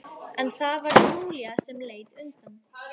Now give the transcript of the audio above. En það var Júlía sem leit undan.